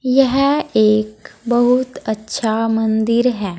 यह एक बहुत अच्छा मंदिर है।